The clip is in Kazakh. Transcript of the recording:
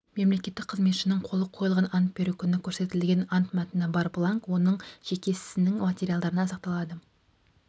мемлекеттік қызметшінің қолы қойылған ант беру күні көрсетілген ант мәтіні бар бланк оның жеке ісінің материалдарында сақталады